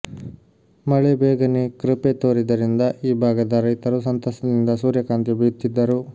ಮಳೆ ಬೇಗನೆ ಕೃಪೆ ತೋರಿದ್ದರಿಂದ ಈ ಭಾಗದ ರೈತರು ಸಂತಸದಿಂದ ಸೂರ್ಯಕಾಂತಿ ಬಿತ್ತಿದ್ದರು